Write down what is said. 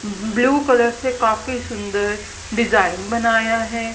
Blue colour से काफी सुंदर डिजाइन बनाया है।